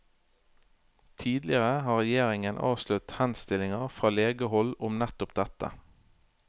Tidligere har regjeringen avslått henstillinger fra legehold om nettopp dette.